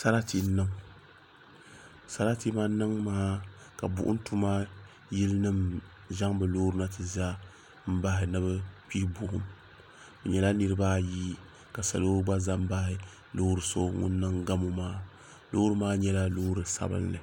Sarati n niŋ sarati man niŋ maa ka buɣum tuma yili nima zaŋ bɛ Loori na n ti za bahi ni bɛ kpihi buɣum bɛ nyɛla niriba ayi ka salo gba zam bahi loori ŋun niŋ gamu maa Loori maa nyɛla Loori sabinli.